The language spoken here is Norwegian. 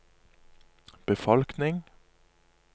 befolkning